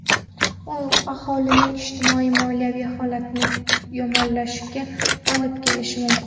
U aholining ijtimoiy-moliyaviy holati yomonlashishiga olib kelishi mumkin.